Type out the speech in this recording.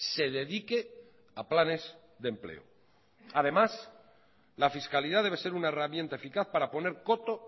se dedique a planes de empleo además la fiscalidad debe ser una herramienta eficaz para poner coto